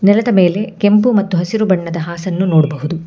ನೆಲದ ಮೇಲೆ ಕೆಂಪು ಮತ್ತು ಹಸಿರು ಬಣ್ಣದ ಹಾಸನ್ನು ನೋಡ್ಬಹುದು.